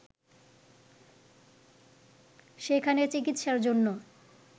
সেখানে চিকিৎসার জন্য